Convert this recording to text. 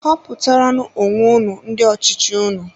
Họputara nú onwe unu ndị ọchịchị unu!